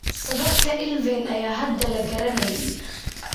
Sababta ILVEN ayaan hadda la garanayn.